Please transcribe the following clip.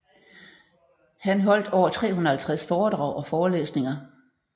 Har holdt over 350 foredrag og forelæsninger